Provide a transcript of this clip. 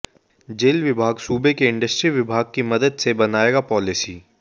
jail विभाग सूबे के इंडस्ट्री विभाग की मदद से बनाएगा पाॅलिसी